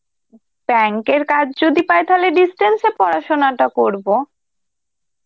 bank এর কাজ যদি পাই তাহলে distance এ পড়াশোনাটা করব.